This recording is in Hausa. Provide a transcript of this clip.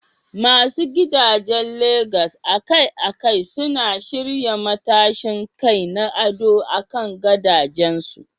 Masu gidajen Legas akai-akai suna shirya matashin kai na ado akan gadajensu.